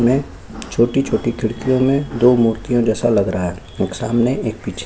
इनमें छोटी-छोटी खिड़कियों में दो मूर्ति जैसा लग रहा है एक सामने एक पीछे